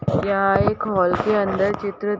यह एक हॉल के अंदर चित्रित --